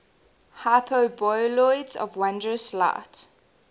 hyperboloids of wondrous light